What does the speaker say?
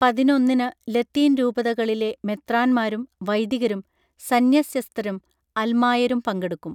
പതിനൊന്നിന് ലത്തീൻ രൂപതകളിലെ മെത്രാൻന്മാരും വൈദികരും സന്ന്യസ്യസ്ത്യരും അൽമായരും പങ്കെടുക്കും